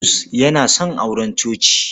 Bulus yana son auren coci.